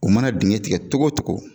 U mana dingɛ tigɛ cogo o cogo